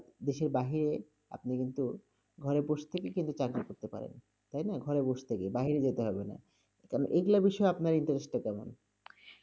দেশের বাহিরে, আপনি কিন্তু ঘরে বসে থেকেই কিন্তু চাকরী করতে পারেন, তাই না? ঘরে বসে থেকেই, বাহিরে যেতে হবে না, কেন এইগুলার বিষয়ে আপনার interest -টা কেমন?